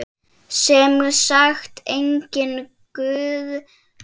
Sem sagt, enginn guð.